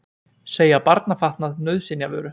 Segja barnafatnað nauðsynjavöru